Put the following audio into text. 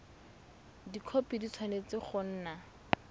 dikhopi di tshwanetse go nna